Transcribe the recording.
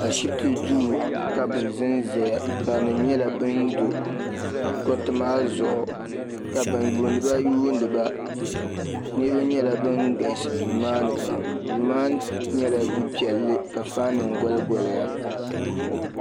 Ashipti duu ka bɛ zanzaya barinima nyɛla bin do gariti maa zuɣu ka ban yuuniba yuuniba niriba nyɛla nan galisi duu maani pam duu maa nyɛla du piɛlli fan nima goli goliya .